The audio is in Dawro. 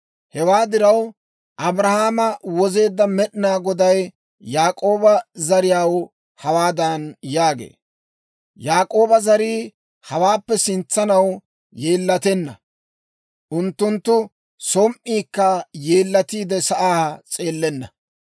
Hewaa diraw, Abrahaama wozeedda Med'inaa Goday Yaak'ooba zariyaw hawaadan yaagee; «Yaak'ooba zarii hawaappe sintsanaw yeellatenna; unttunttu som"iikka yeellatiide, sa'aa s'eellenna.